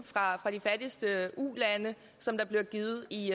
fra de fattigste ulande som der bliver givet i